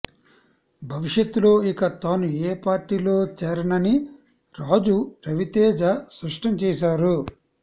భవిష్యత్తులో ఇక తాను ఏ పార్టీలో చేరనని రాజు రవితేజ స్పష్టం చేశారు